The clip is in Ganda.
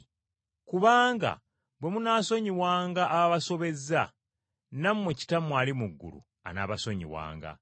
“Kubanga bwe munaasonyiwanga ababasobezza, nammwe Kitammwe ali mu ggulu anaabasonyiwanga.